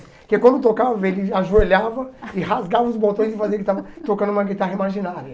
Porque quando tocava, ele ajoelhava e rasgava os botões e fazia que estava tocando uma guitarra imaginária.